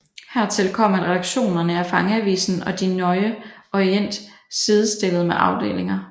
Hertil kom at redaktionerne af fangeavisen og Der Neue Orient sidestillet med afdelinger